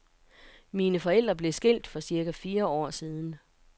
Mine forældre blev skilt for cirka fire år siden.